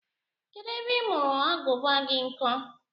Kedụ ebe ị mụrụ Agụba gị nkọ?